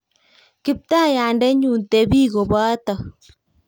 Kiptaiyandennyu, tebi kobota.